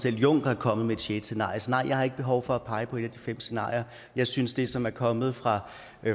selv juncker er kommet med et sjette scenarie så nej jeg har ikke behov for at pege på et af de fem scenarier jeg synes det som er kommet fra